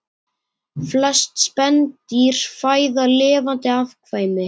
Flest spendýr fæða lifandi afkvæmi